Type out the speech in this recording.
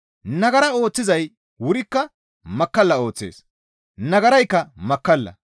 Nagara ooththizay wurikka makkalla ooththees; nagaraykka makkalla.